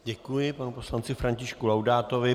Děkuji panu poslanci Františku Laudátovi.